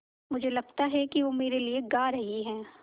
मुझे लगता है कि वो मेरे लिये गा रहीं हैँ